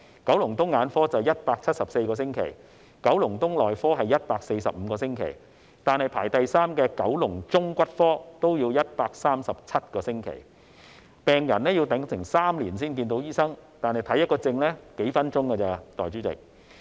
九龍東眼科是174個星期，九龍東內科是145個星期，排名第三的九龍中骨科也要137個星期，病人要等候3年才能見醫生，但診症只花數分鐘。